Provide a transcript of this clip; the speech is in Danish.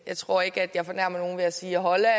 jeg tror ikke at jeg fornærmer nogen ved at sige holland